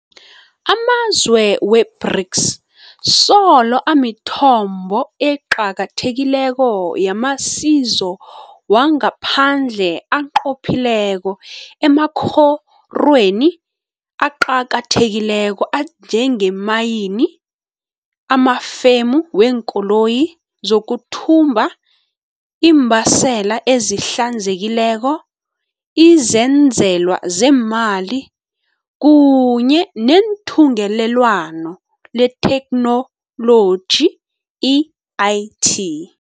Ama zwe we-BRICS solo amithombo eqakathekileko yamasiso wangaphandle anqophileko emakorweni aqakathekileko anjengeemayini, amafemu weenkoloyi, zokuthutha, iimbaseli ezihlanzekileko, izenzelwa zeemali kunye neThungelelwano leTheknoloji, i-IT.